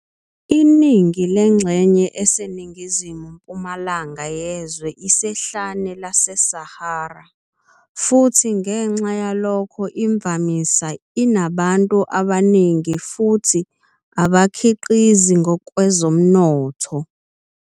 Iningi lengxenye eseningizimu mpumalanga yezwe isehlane laseSahara futhi ngenxa yalokho imvamisa inabantu abaningi futhi abakhiqizi ngokwezomnotho.